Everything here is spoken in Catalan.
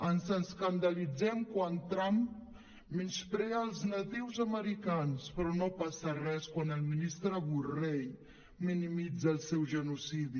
ens escandalitzem quan trump menysprea els natius americans però no passa res quan el ministre borrell minimitza el seu genocidi